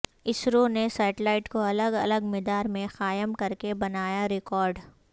اسرو نے سیٹلائٹ کو الگ الگ مدار میں قائم کر کے بنایا ریکارڈ